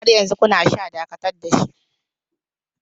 Har yanzu kuna sha, Dakatar da shi!